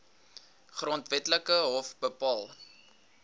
grondwetlike hof bepaal